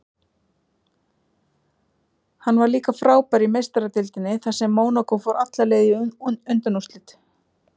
Hann var líka frábær í Meistaradeildinni þar sem Mónakó fór alla leið í undanúrslit.